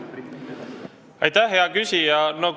Aitäh, hea küsija!